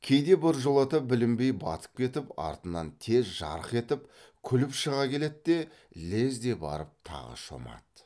кейде біржолата білінбей батып кетіп артынан тез жарқ етіп күліп шыға келед те лезде барып тағы шомады